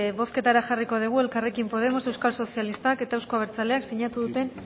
bozketara jarriko digu elkarrekin podemos euskal sozialistak eta euzko abertzaleak sinatu duten